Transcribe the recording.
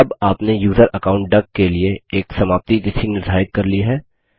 अब आपने user account duck के लिए एक समाप्ति तिथि निर्धारित कर ली है